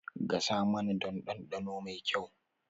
Gasa naman don dandano mai kyau